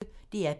DR P1